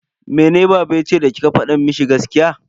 Mene baba yace da kika fada mishi gaskiya?